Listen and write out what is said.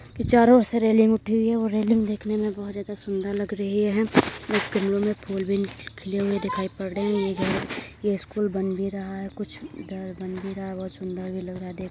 ये चारो ओर से रैलिंग उठी हुई है और रैलिंग दिखने में बहोत ज्यादा सुंदर लग रही है। एक गमलो में फुल भी खिले हुए दिखाई पर रहे हैं। ये स्कुल बन भी रहा है। कुछ घर बन भी रहा है बहोत सुंदर भी लग रहा है देखने में --